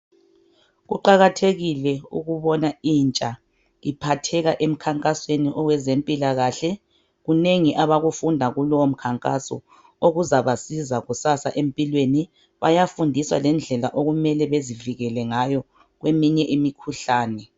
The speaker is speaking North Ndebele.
Kuqakathekile ukubona intsha iphatheke emkhankasweni owezempilakahle kunengi abakufunda kulowo mkhankaso okuzabasiza kusasa empilweni bayafundiswa lendlela okumele bazivikele ngayo kweminye imikhuhlane.